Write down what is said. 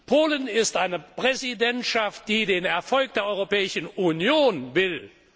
Polen ist eine Präsidentschaft, die den Erfolg der Europäischen Union will.